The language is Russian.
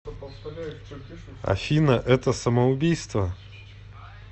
афина это самоубийство